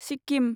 Sikkim